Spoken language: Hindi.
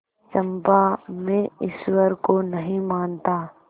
चंपा मैं ईश्वर को नहीं मानता